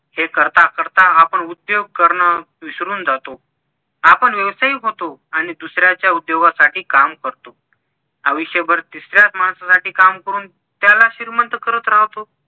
हे करता करता आपण उद्योग करण विसरून जातो आपण व्यवसायिक होतो आणि दुसऱ्याच्या उद्योगासाठी काम करतो आयुष्यभर तिसऱ्याच माणसासाठी काम करून त्याला श्रीमंत करत राहतो